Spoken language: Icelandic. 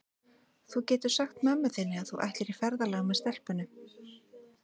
Þú getur sagt mömmu þinni að þú ætlir í ferðalag með stelpunum.